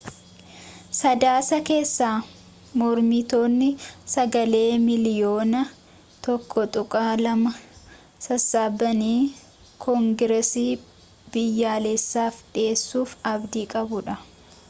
sadaasa keessa mormitoonni sagalee miiliyoona 1.2 sassaabanii koongeresii biyyaalessaf dhiheessuuf abdii qabu